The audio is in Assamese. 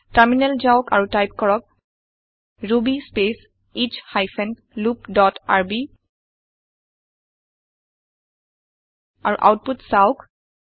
terminalটাৰমিনেল যাওক আৰু টাইপ কৰক Ruby space S hyphen loop dot rb আৰু আওতপুত চাওঁক